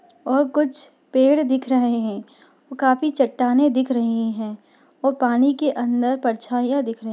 और कुछ पेड़ दिख रहे है। काफी चट्टानें दिख रही है और पानी के अंदर परछाइयां दिख रही है।